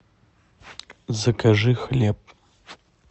закажи хлеб